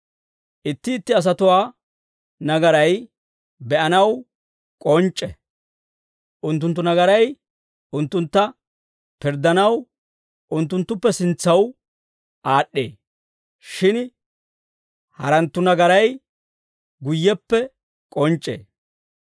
Itti itti asatuwaa nagaray be'anaw k'onc'c'e; unttunttu nagaray unttuntta pirddanaw unttunttuppe sintsaw aad'd'ee. Shin haratuu nagaray guyyeppe k'onc'c'ee.